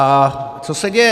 A co se děje?